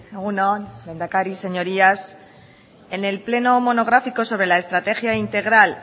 egun on lehendakari señorías en el pleno monográfico sobre la estrategia integral